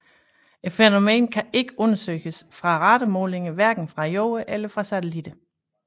Fænomenet kan ikke undersøges med radarmålinger hverken fra Jorden eller fra satellitter